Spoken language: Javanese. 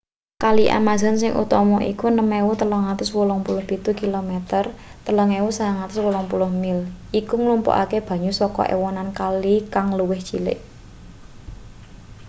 kali amazon sing utama iku 6.387 km 3.980 mil. iku nglumpukake banyu saka ewonan kali kang luwih cilik